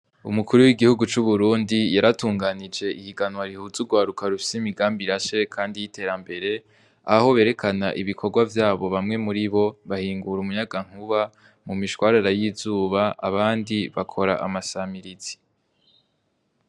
Umukuru w'igihugu c'uburundi yaratunganije ihiganwa rihuza ugwaruka rufise imigambi irashe kandi y'iterambere aho berekana ibikorwa vyabo, bamwe muribo bahingura umuyagankuba mumishwarara y'izuba abandi bakora amasamirizi.